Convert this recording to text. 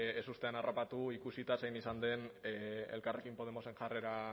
ezustean harrapatu ikusita zein izan den elkarrekin podemosen jarrera